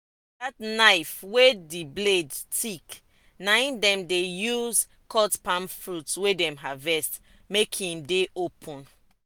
that knife wey the blade thick na em dem dey use cut palm fruit wey dem harvest make em dey open.